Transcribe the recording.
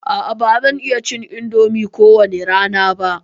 A'a ba zan iya cin indomi ko wani rana ba.